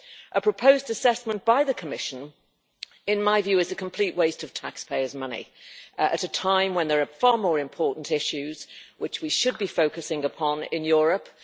A proposed assessment by the Commission in my view is a complete waste of taxpayers' money at a time when there are far more important issues which we should be focusing upon in Europe.